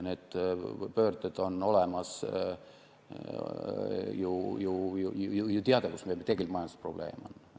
See on ju teada, kus meil tegelik majandusprobleem on.